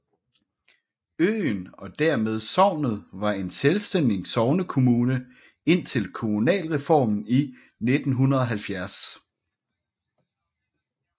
Øen og dermed sognet var en selvstændig sognekommune indtil kommunalreformen i 1970